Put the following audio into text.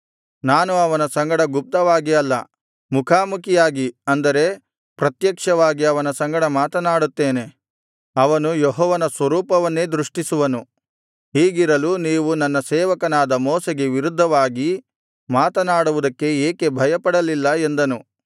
ನಾನು ಅವನ ಸಂಗಡ ಗುಪ್ತವಾಗಿ ಅಲ್ಲ ಮುಖಾಮುಖಿಯಾಗಿ ಅಂದರೆ ಪ್ರತ್ಯಕ್ಷವಾಗಿ ಅವನ ಸಂಗಡ ಮಾತನಾಡುತ್ತೇನೆ ಅವನು ಯೆಹೋವನ ಸ್ವರೂಪವನ್ನೇ ದೃಷ್ಟಿಸುವನು ಹೀಗಿರಲು ನೀವು ನನ್ನ ಸೇವಕನಾದ ಮೋಶೆಗೆ ವಿರುದ್ಧವಾಗಿ ಮಾತನಾಡುವುದಕ್ಕೆ ಏಕೆ ಭಯಪಡಲಿಲ್ಲ ಎಂದನು